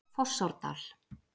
Fossárdal